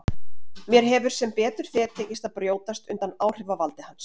Mér hefur sem betur fer tekist að brjótast undan áhrifavaldi hans.